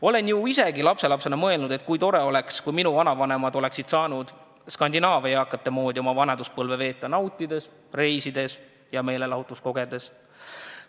Olen ju isegi lapselapsena mõelnud, et kui tore oleks, kui minu vanavanemad oleksid saanud Skandinaavia eakate moodi oma vanaduspõlve veeta – nautides, reisides ja meelelahutust kogedes.